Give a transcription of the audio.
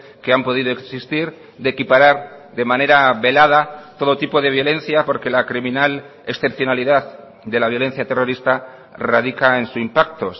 que han podido existir de equiparar de manera velada todo tipo de violencia porque la criminal excepcionalidad de la violencia terrorista radica en su impacto